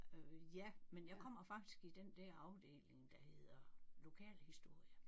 Øh ja men jeg kommer faktisk i den der afdeling der hedder lokalhistorie